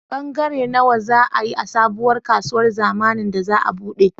Bangare nawa za a yi a sabuwar kasuwar zamnin da za a buɗe?